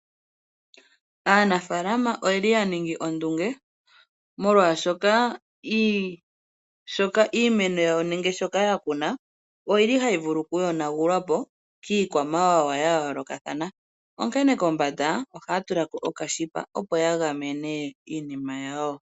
Aanafaalama oyeli yaningi ondunge molwaashoka iimeno yawo nenge shoka oyili hayi vulu okuyonwapo kiikwamawawa ya yoolokathana onkene kombanda ohaya tulako okanete opo yagamene iinima yawo.